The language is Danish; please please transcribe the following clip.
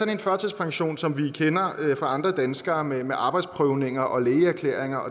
en førtidspension som vi kender fra andre danskere med arbejdsprøvninger og lægeerklæringer